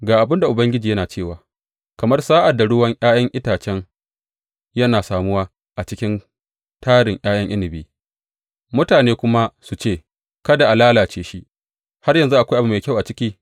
Ga abin da Ubangiji yana cewa, Kamar sa’ad da ruwan ’ya’yan itace yana samuwa a cikin tarin ’ya’yan inabi mutane kuma su ce, Kada a lalace shi, har yanzu akwai abu mai kyau a ciki,’